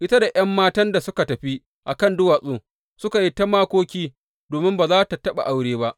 Ita da ’yan matan suka tafi a kan duwatsu suka yi ta makoki domin ba za tă taɓa aure ba.